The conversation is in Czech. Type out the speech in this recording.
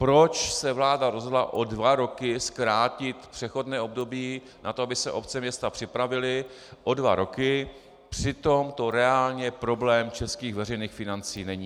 Proč se vláda rozhodla o dva roky zkrátit přechodné období na to, aby se obce, města připravily o dva roky, přitom to reálný problém českých veřejných financí není?